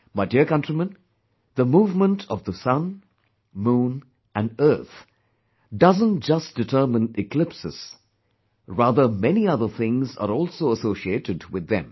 My dear countrymen, the movement of the sun, moon and earth doesn't just determine eclipses, rather many other things are also associated with them